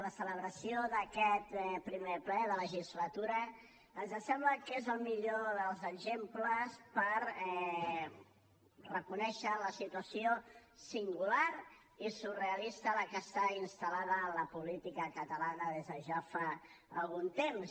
la celebració d’aquest primer ple de legislatura ens sembla que és el millor dels exemples per reconèixer la situació singular i surrealista en la qual està instal·lada la política catalana des de ja fa algun temps